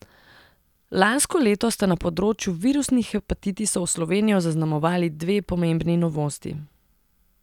Lansko leto sta na področju virusnih hepatitisov Slovenijo zaznamovali dve pomembni novosti.